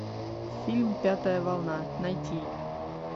фильм пятая волна найти